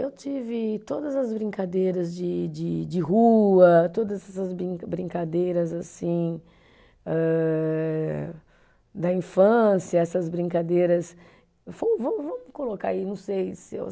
Eu tive todas as brincadeiras de de de rua, todas essas brin brincadeiras assim âh da infância, essas brincadeiras, va vamos colocar aí, não sei se eu